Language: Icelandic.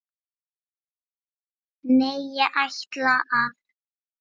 Nei, ég ætla að.